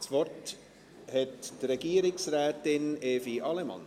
Das Wort hat Regierungsrätin Evi Allemann.